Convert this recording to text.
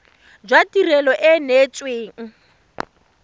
jwa tirelo e e neetsweng